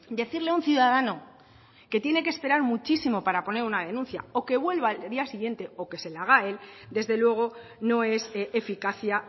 decirle a un ciudadano que tiene que esperar muchísimo para poner una denuncia o que vuelva al día siguiente o que se la haga él desde luego no es eficacia